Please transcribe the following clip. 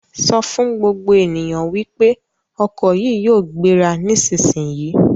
Sọ fún gbogbo ènìyàn wípé ọkọ̀ yìí yóò gbéra nísisìyìí!